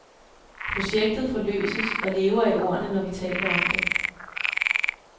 Projektet forløses og lever i ordene, når vi taler om det.